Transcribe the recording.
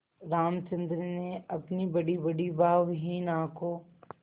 रामचंद्र ने अपनी बड़ीबड़ी भावहीन आँखों